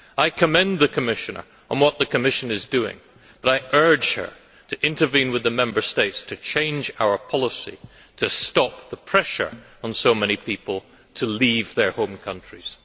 I commend the Commissioner on what the Commission is doing, but I urge her to intervene with the Member States to change our policy to stop the pressure on so many people to leave their home countries.